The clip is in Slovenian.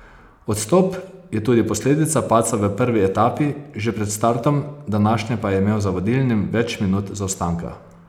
Odstop je tudi posledica padca v prvi etapi, že pred startom današnje pa je imel za vodilnim več minut zaostanka.